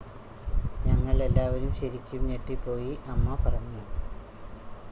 """ഞങ്ങൾ എല്ലാവരും ശരിക്കും ഞെട്ടിപ്പോയി," അമ്മ പറഞ്ഞു.